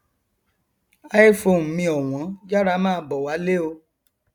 iphone mi ọwọn yára máa bọ wálé o